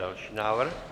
Další návrh.